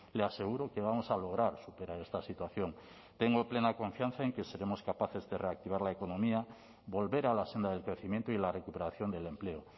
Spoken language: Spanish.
le aseguro que vamos a lograr superar esta situación tengo plena confianza en que seremos capaces de reactivar la economía volver a la senda del crecimiento y la recuperación del empleo